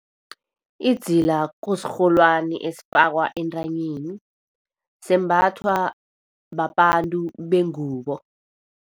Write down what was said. Idzila kusirholwani esifakwa entanyeni. Sembathwa babantu bengubo.